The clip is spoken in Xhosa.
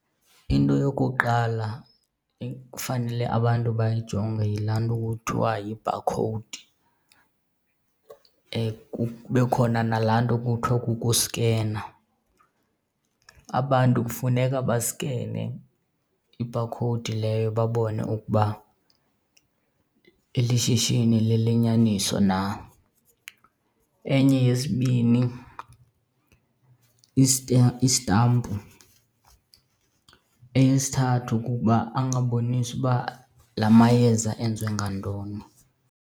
Into yokuqala ekufanele abantu bayayijonge yilaa nto kuthiwa yibhakhowudi, kube khona nalaa nto kuthiwa kukuskena. Abantu kufuneka baskene ibhakhowudi leyo babone ukuba eli shishini lelenyaniso na. Enye yesibini istampu. Eyesithathu kukuba angaboniswa uba la mayeza enziwe ngantoni.